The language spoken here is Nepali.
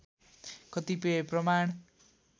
कतिपय प्रमाण